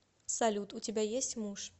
салют у тебя есть муж